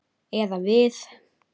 Eða við.